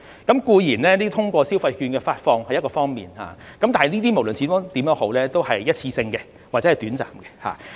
固然，消費券的發放是一個方法，但是，這無論如何都是一次性的或者短暫的。